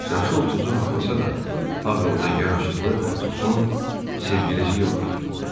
Yaşı 30-u haqlasa da, ağıllı, yaraşıqlı Atosun sevgilisi yox idi.